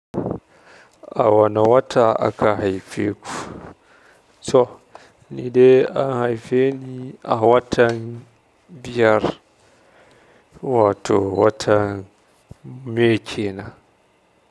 A wane wata aka haife ku? To, ni dai an haife ni a watan biyar wato wata may kenan.